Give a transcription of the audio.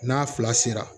N'a fila sera